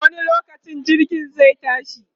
wani lokaci jirgin zai tashi?